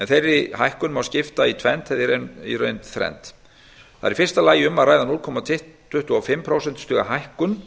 þeirri hækkun má skipta í tvennt eða í reynd þrennt í fyrsta lagi er um að ræða núll komma tuttugu og fimm prósentustiga hækkun